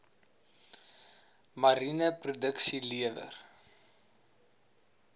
mariene produksie lewer